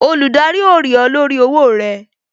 Olùdarí ó rí ọ lórí owó rẹ